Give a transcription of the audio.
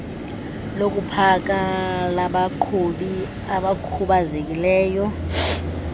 lokupaka labaqhubi abakhubazekileyo